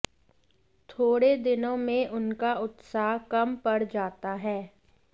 थोड़े दिनों में उनका उत्साह कम पड़ जाता है